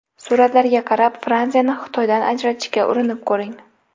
Suratlarga qarab Fransiyani Xitoydan ajratishga urinib ko‘ring.